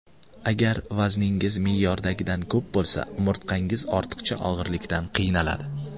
Agar vazningiz me’yordagidan ko‘p bo‘lsa, umurtqangiz ortiqcha og‘irlikdan qiynaladi.